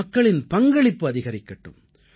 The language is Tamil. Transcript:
மக்கள் பங்களிப்பு அதிகரிக்கட்டும்